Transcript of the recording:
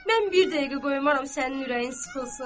Mən bir dəqiqə qoymaram sənin ürəyin sıxılsın.